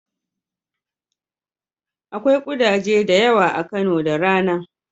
Akwai ƙudaje da yawa a Kano da rana.